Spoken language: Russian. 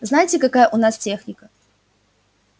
знаете какая у нас техника